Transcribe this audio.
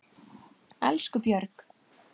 Elsku Björg.